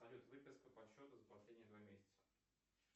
салют выписка по счету за последние два месяца